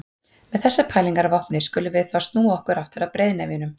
Með þessar pælingar að vopni skulum við þá snúa okkur aftur að breiðnefjunum.